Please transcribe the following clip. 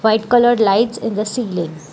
White colour lights in the ceiling.